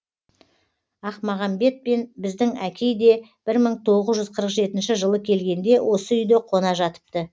ақмағамбет пен біздің әкей де бір мың тоғыз жүз қырық жетінші жылы келгенде осы үйде қона жатыпты